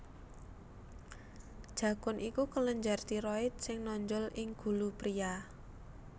Jakun iku kelenjar tiroid sing nonjol ing gulu priya